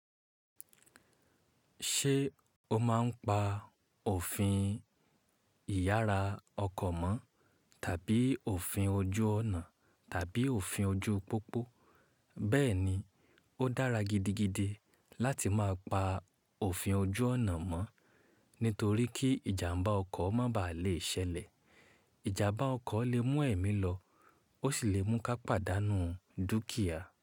Ṣé o máa ń pa òfin ìyára ọkọ̀ mọ́ tàbí òfin ojú ọ̀nà tàbí òfin ojú pópó? Bẹ́ẹ̀ ni, ó dára gidigidi láti má pa òfin ojú ọ̀nà mọ́ nítorí kí ìjàmbá ọkọ̀ má baà le ṣẹlẹ̀. Ìjàmbá ọkọ̀ lè mú ẹ̀mí lọ ó sì lè mú ká pàdánù dúkìá.